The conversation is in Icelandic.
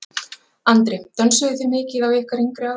Andri: Dönsuðuð þið mikið á ykkar yngri árum?